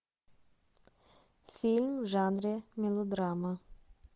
фильм в жанре мелодрама